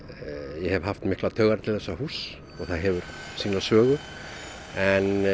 ég hef haft miklar taugar til þessa húss og það hefur sýna sögu en